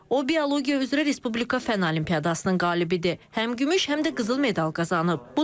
O biologiya üzrə Respublika fənn olimpiadasının qalibidir, həm gümüş, həm də qızıl medal qazanıb.